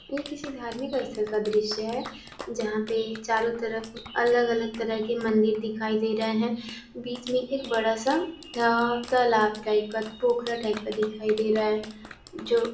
ये किसी धार्मिक स्थल का दृश्य है जहाँ पे चारो तरफ अलग अलग तरह के मंदिर दिखाई दे रहे हैं | बीच में एक बड़ा सा तालाब टाइप का पोखरा टाइप का दिखा है | जो--